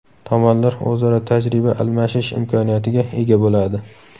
Tomonlar o‘zaro tajriba almashish imkoniyatiga ega bo‘ladi.